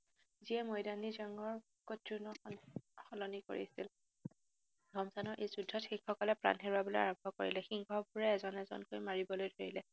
যিয়ে মৈদানী জংঘৰ সলনি কৰিছিল, ৰমজানৰ এই যুদ্ধত শিখসকলে প্ৰাণ হেৰুৱাবলৈ আৰম্ভ কৰিলে। সিংহবোৰে এজন এজকৈ মাৰিবলৈ ধৰিলে।